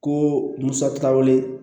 Ko musa ti taa wele